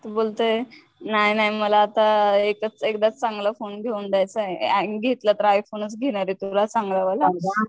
तो बोलतोय नाय नाय मला आता एकच एकदाच चांगला फोने घेऊन द्यायचाय, घेतला तर आय फोनच घेणारे तुला चांगला वाला.